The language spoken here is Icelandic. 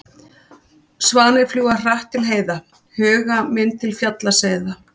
Svanir fljúga hratt til heiða, huga minn til fjalla seiða.